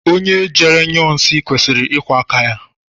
Onye jere nyụọ nsị kwesịrị ịkwọ áká ya.